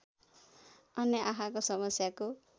अन्य आँखाको समस्याको